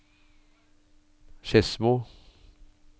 Skedsmo